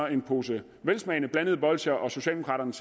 en pose velsmagende blandede bolsjer og socialdemokraterne